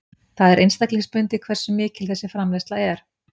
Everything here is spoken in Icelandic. Það er einstaklingsbundið hversu mikil þessi framleiðsla er.